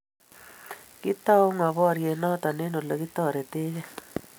Kitau ngo boryet noto eng olegitoretegei?